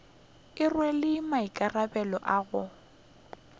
e rwele maikarabelo a go